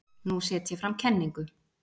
Nú set ég fram kenningu.